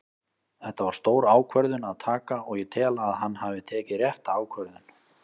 Þetta var stór ákvörðun að taka og ég tel að hann hafi tekið rétta ákvörðun.